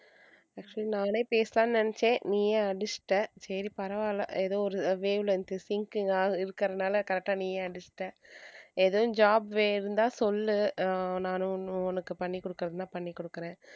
actually நானே பேசலாம்னு நெனச்சேன் நீயே அடிச்சிட்ட சரி பரவால்ல ஏதோ ஒரு wave length sync இருக்கறதுனால correct அ நீயே அடிச்சிட்ட ஏதும் job இருந்தா சொல்லு அஹ் நானும் உனக்கு பண்ணி கொடுக்கறதுனா பண்ணிகொடுக்குறேன்.